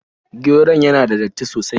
Geron yana da datti sosai.